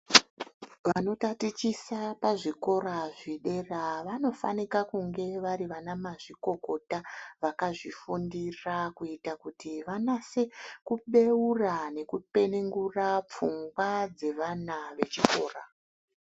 Vanotatichisa pazvikora zvedera vanofana kunge vari mazvikokota vakazvifundira kuita kuti vanase kubeura nekupenengura pfungwa dzevana vechikora.